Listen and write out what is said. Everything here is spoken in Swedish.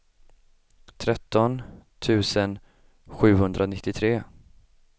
tretton tusen sjuhundranittiotre